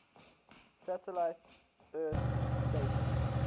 satellite earth stations